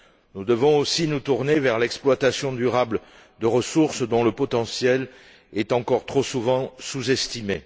Nous devons aussi nous tourner vers l'exploitation durable de ressources dont le potentiel est encore, trop souvent, sous estimé.